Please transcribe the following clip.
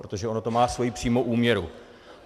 Protože ono to má svoji přímou úměru.